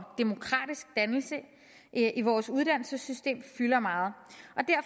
demokratisk dannelse i vores uddannelsessystem fylder meget